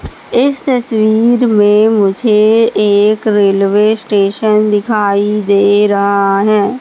इस तस्वीर में मुझे एक रेलवे स्टेशन दिखाई दे रहा है।